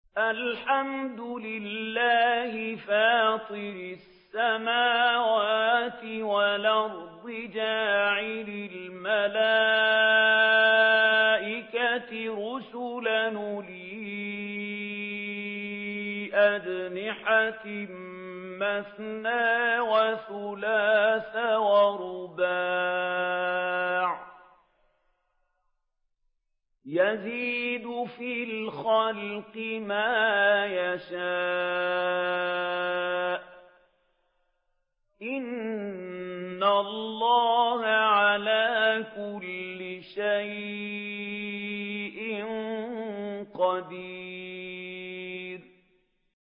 الْحَمْدُ لِلَّهِ فَاطِرِ السَّمَاوَاتِ وَالْأَرْضِ جَاعِلِ الْمَلَائِكَةِ رُسُلًا أُولِي أَجْنِحَةٍ مَّثْنَىٰ وَثُلَاثَ وَرُبَاعَ ۚ يَزِيدُ فِي الْخَلْقِ مَا يَشَاءُ ۚ إِنَّ اللَّهَ عَلَىٰ كُلِّ شَيْءٍ قَدِيرٌ